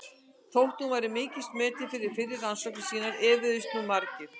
Þótt hún væri mikils metin fyrir fyrri rannsóknir sínar efuðust nú margir.